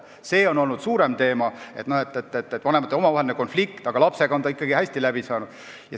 See on olnud suurem teema, et isegi kui vanematel on omavaheline konflikt, siis lapsega on ikkagi hästi läbi saadud.